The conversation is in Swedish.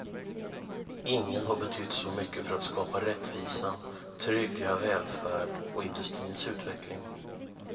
Ingen har betytt så mycket för att skapa rättvisa, trygga välfärd och industrins utveckling.